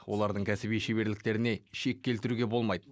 олардың кәсіби шеберліктеріне шек келтіруге болмайды